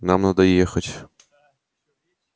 нам надо ехать